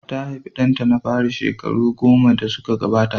Ta haifi ɗanta na fari shekaru goma da suka gabata.